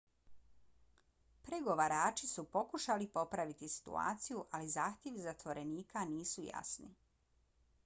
pregovarači su pokušali popraviti situaciju ali zahtjevi zatvorenika nisu jasni